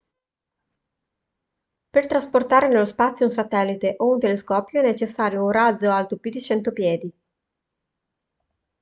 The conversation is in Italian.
per trasportare nello spazio un satellite o un telescopio è necessario un razzo alto più di 100 piedi